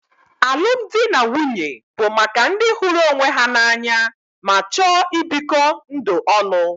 Alụmdi na nwunye bụ maka ndị hụrụ onwe ha n'anya ma chọọ ibikọ ndụ ọnụ.